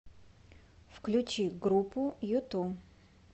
включи группу юту